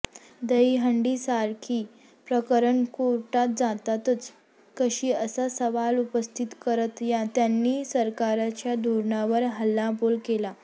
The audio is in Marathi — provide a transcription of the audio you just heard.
दहीहंडीसारखी प्रकरणं कोर्टात जातातच कशी असा सवाल उपस्थित करत त्यांनी सरकारच्या धोरणावर हल्लाबोल केला